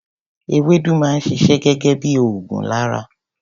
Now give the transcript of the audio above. Ewédú máa ń ṣiṣẹ́ gẹgẹ bí ògùn lára.